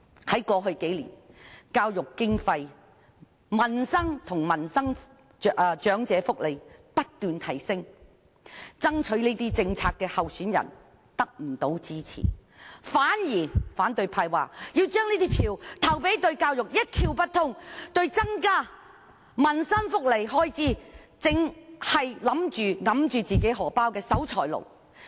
反對派竟然不支持提出政策增加政府開支的候選人，反而聲稱要把票投給對教育一竅不通、一直拒絕增加民生福利開支的守財奴。